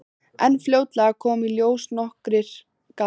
En fljótlega koma í ljós nokkrir gallar.